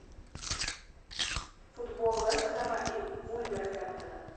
футбол вест хэма и вулверхэмптона